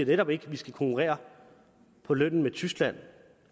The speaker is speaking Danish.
netop ikke vi skulle konkurrere på lønnen med tyskland